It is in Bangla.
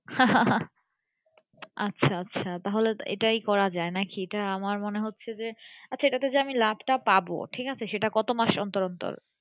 আচ্ছা আচ্ছা তাহলে এটাই করা যাই নাকি এটাই আমার মনে হচ্ছে যে আচ্ছা আমি এটাতে লাভ তা পাবো ঠিক আছে কত মাস অন্তর অন্তর।